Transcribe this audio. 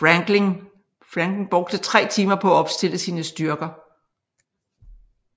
Franklin brugte tre timer på at opstille sine styrker